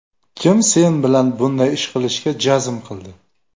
Kim sen bilan bunday ish qilishga jazm qildi?